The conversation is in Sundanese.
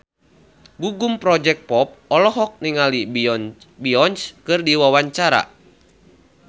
Gugum Project Pop olohok ningali Beyonce keur diwawancara